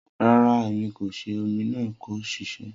Rara, Emi ko ṣe. Omi naa ko ṣiṣẹ.